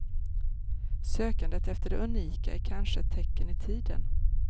Sökandet efter det unika är kanske ett tecken i tiden.